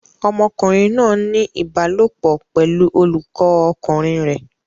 Ọmọkùnrin náà ń ní ìbálòpọ̀ pẹ̀lú olùkọ́ ọkùnrin rẹ̀.